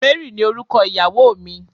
Mary ni orúkọ ìyàwó mi